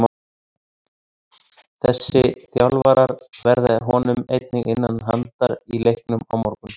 Þessi þjálfarar verða honum einnig innan handar í leiknum á morgun.